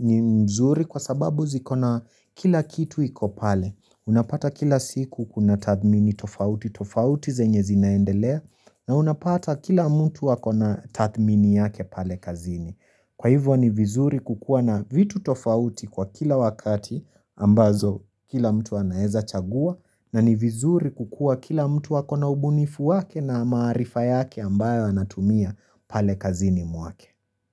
ni nzuri kwa sababu zikona kila kitu iko pale. Unapata kila siku kuna tathmini tofauti, tofauti zenye zinaendelea na unapata kila mtu ako na tathmini yake pale kazini. Kwa hivyo ni vizuri kukuwa na vitu tofauti kwa kila wakati ambazo kila mtu anaweza chagua na ni vizuri kukuwa kila mtu ako na ubunifu wake na maarifa yake ambayo anatumia pale kazini mwake.